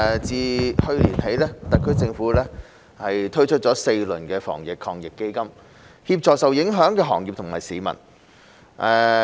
自去年起，特區政府推出了4輪防疫抗疫基金，協助受影響的行業及市民。